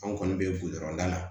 An kɔni bɛ budɔrɔn da la